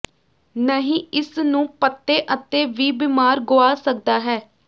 ਨਹੀ ਇਸ ਨੂੰ ਪੱਤੇ ਅਤੇ ਵੀ ਬਿਮਾਰ ਗੁਆ ਸਕਦਾ ਹੈ